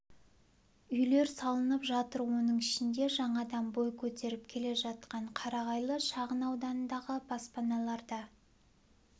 үйлер салынып жатыр оның ішінде жаңадан бой көтеріп келе жатқан қарағайлы шағын ауданындағы баспаналар да